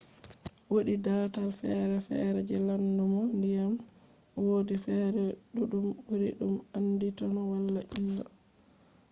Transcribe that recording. woodi dataal fere fere je laddumgo diyam wodi fere duddum buri dum anditino wada illa